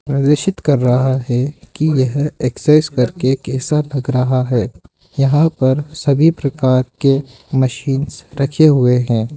प्रदर्शित कर रहा है कि यह एक्सेस करके कैसा लग रहा है यहां पर सभी प्रकार के मशीनस रखे हुए हैं।